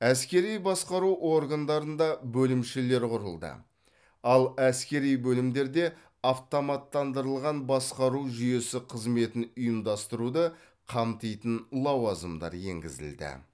әскери басқару органдарында бөлімшелер құрылды ал әскери бөлімдерде автоматтандырылған басқару жүйесі қызметін ұйымдастыруды қамтитын лауазымдар енгізілді